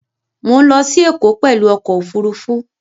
Mọ̀ ń lọ sí Ẹ̀kọ́ pẹ̀lú ọkọ̀ Òfurufú